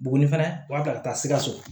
Buguni fɛnɛ u b'a ta ka taa sikaso